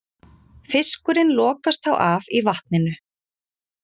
Fiskurinn lokast þá af í vatninu.